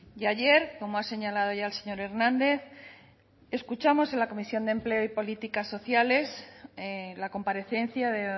y ayer como ha señalado ya el señor hernández escuchamos en la comisión de empleo y políticas sociales la comparecencia de